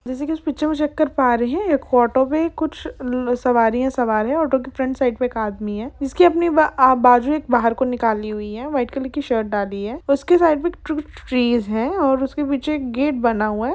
जैसे कि इस पिक्चर मे चेक कर पा रहे है एक ऑटो मे कुछ सवारी है सवार है ऑटो साइड आगे एक आदमी है उसके बाजू बाहर को निकली हुई है व्हाइट कलर कि शर्ट डाली हुई है उसके साइड में है उसके पीछे एक गेट बना हुआ है।